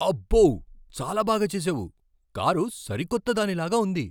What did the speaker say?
అబ్బో! చాలా బాగా చేసావు. కారు సరికొత్త దానిలాగా ఉంది.